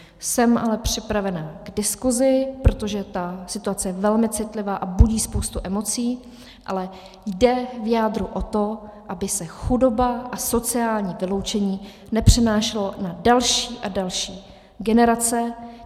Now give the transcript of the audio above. Jsem ale připravena k diskuzi, protože ta situace je velmi citlivá a budí spoustu emocí, ale jde v jádru o to, aby se chudoba a sociální vyloučení nepřenášely na další a další generace.